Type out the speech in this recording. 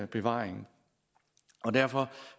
bevaring og derfor